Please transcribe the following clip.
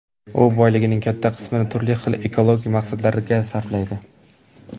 U boyligining katta qismini turli xil ekologik maqsadlarga sarflaydi.